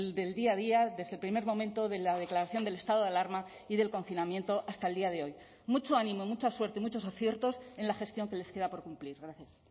del día a día desde el primer momento de la declaración del estado de alarma y del confinamiento hasta el día de hoy mucho ánimo mucha suerte muchos aciertos en la gestión que les queda por cumplir gracias